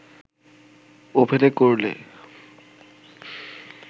ওভেনে করলে